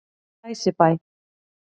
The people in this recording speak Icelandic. Glæsibæ